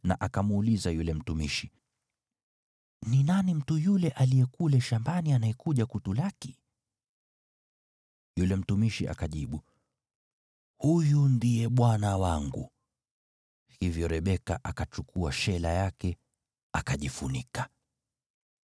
na akamuuliza yule mtumishi, “Ni nani mtu yule aliye kule shambani anayekuja kutulaki?” Yule mtumishi akajibu, “Huyu ndiye bwana wangu.” Hivyo Rebeka akachukua shela yake akajifunika.